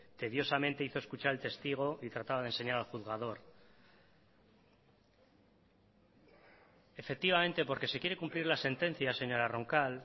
tediosamente hizo escuchar al testigo y trataba de enseñar al juzgador efectivamente porque se quiere cumplir la sentencia señora roncal